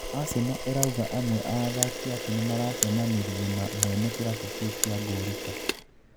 Aseno ĩrauga amwe a athaki ake nĩmaracemanirie na mwene kĩrabu kĩu gĩa Ngũrika.